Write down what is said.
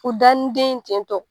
U da ni den ye ten tɔ